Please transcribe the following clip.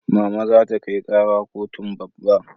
Mama za ta kai kara kotun babba